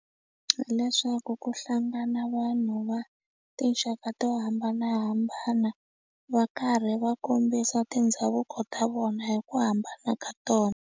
Hileswaku ku hlangana vanhu va tinxaka to hambanahambana va karhi va kombisa tindhavuko ta vona hi ku hambana ka tona.